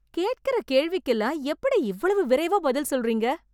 கேட்கிற கேள்விக்கு எல்லாம் எப்படி இவ்வளவு விரைவா பதில் சொல்றீங்க.